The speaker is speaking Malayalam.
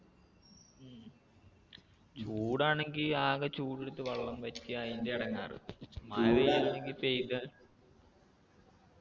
ഉം ചൂടാണെങ്കി ആക ചൂടെടുത്ത് വെള്ളം വറ്റി അയിന്റെ എടങ്ങാറ് മഴയാണെങ്കി പെയ്ത